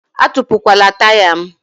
Atupukwala taya m!